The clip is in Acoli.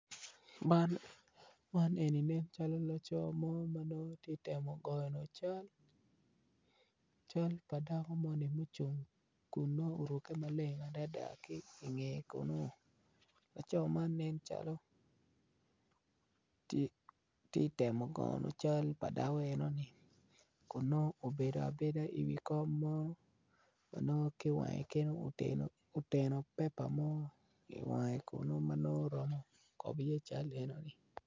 Man eni ne calo laco mo ma nongo ti temo gono cal cal pa dako moni mucung kun nongo oruke maleng adada ki inge kunno laco man nen calo ti temo goyo cal pa dako enoni kun nongo obedo abeda iwi kom mo ma nongo ki iwange kenyo oteno pepa mo iwange kuno ma nongo romo kobo iye cal enoni.